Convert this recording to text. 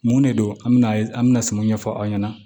Mun de don an bɛna an bɛna sumanw ɲɛfɔ aw ɲɛna